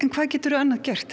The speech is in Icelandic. hvað geturðu annað gert